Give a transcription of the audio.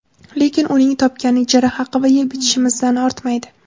Lekin uning topgani ijara haqi va yeb-ichishimizdan ortmaydi.